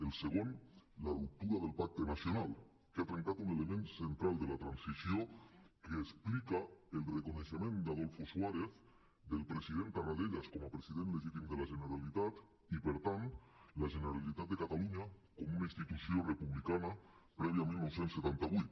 el segon la ruptura del pacte nacional que ha trencat un element central de la transició que explica el reconeixement d’adolfo suárez del president tarradellas com a president legítim de la generalitat i per tant la generalitat de catalunya com una institució republicana prèvia a dinou setanta vuit